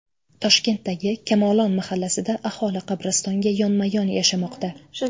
Toshkentdagi Kamolon mahallasida aholi qabristonga yonma-yon yashamoqda .